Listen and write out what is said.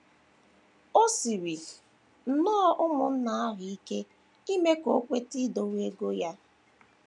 O siiri nnọọ ụmụnna ahụ ike ime ka o kweta idowe ego ya.